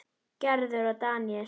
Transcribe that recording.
Gerður og Daníel.